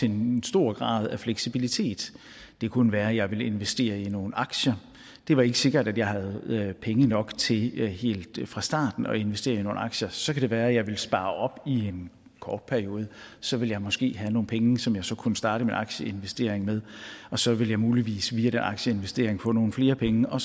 en stor grad af fleksibilitet det kunne være jeg ville investere i nogle aktier det var ikke sikkert at jeg havde penge nok til helt fra starten at investere i nogle aktier så kan det være jeg ville spare op i en kort periode så ville jeg måske have nogle penge som jeg så kunne starte med aktieinvestering med og så ville jeg muligvis via den aktieinvestering få nogle flere penge og